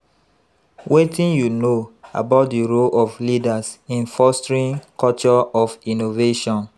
Wetin you know about di role of leaders in fostering culture of innovaion?